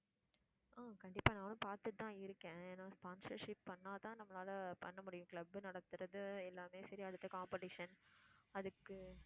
ஆஹ் கண்டிப்பா நானும் பாத்துட்டு தான் இருக்கேன் ஏன்னா sponsorship பண்ணா தான் நம்மளால பண்ண முடியும் club நடத்துறது எல்லாமே சரி அடுத்து competition அதுக்கு